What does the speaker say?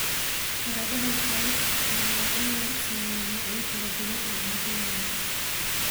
Baradhada waxaa loo isticmaalaa in lagu sameeyo noocyo kala duwan oo cuntooyinka.